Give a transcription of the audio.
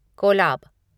Kolab